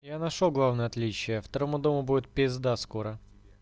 я нашёл главное отличие второму дому будет пизда скоро